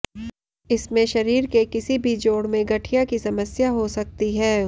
इसमें शरीर के किसी भी जोड़ में गठिया की समस्या हो सकती है